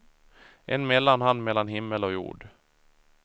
En mellanhand mellan himmel och jord.